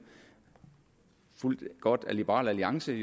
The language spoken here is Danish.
godt fulgt af liberal alliance